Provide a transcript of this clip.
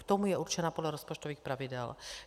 K tomu je určena podle rozpočtových pravidel.